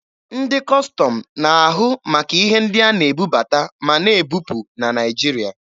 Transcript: Ndị Kọstọm na-ahụ maka ihe ndị a na-ebubata ma na-ebupụ na Naịjirịa.